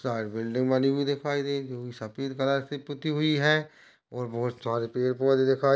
Said building बनी हुई दिखाई दे है सफेद कलर की पुती हुई है और बोहोत सरे पेड़ पौधे दिखाई--